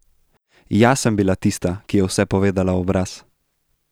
Jaz sem bila tista, ki je vse povedala v obraz.